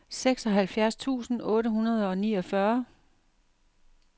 seksoghalvfjerds tusind otte hundrede og niogfyrre